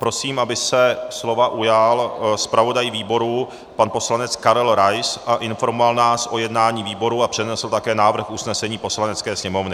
Prosím, aby se slova ujal zpravodaj výboru pan poslanec Karel Rais a informoval nás o jednání výboru a přednesl také návrh usnesení Poslanecké sněmovny.